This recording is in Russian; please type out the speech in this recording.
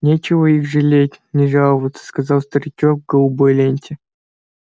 нечего их жалеть ни жаловаться сказал старичок в голубой ленте